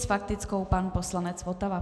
S faktickou pan poslanec Votava.